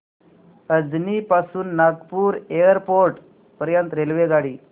अजनी पासून नागपूर एअरपोर्ट पर्यंत रेल्वेगाडी